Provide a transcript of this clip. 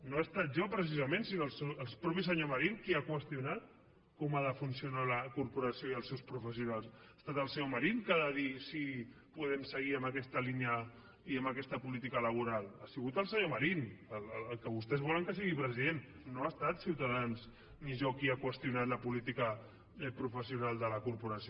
no he estat jo precisament sinó el mateix senyor marín qui ha qüestionat com ha de funcionar la corporació i els seus professionals ha estat el senyor marín que ha de dir si podem seguir amb aquesta línia i amb aquesta política laboral ha sigut el senyor marín el que vostès volen que sigui president no hem estat ciutadans ni jo qui ha qüestionat la política professional de la corporació